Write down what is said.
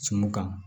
Sinmun kan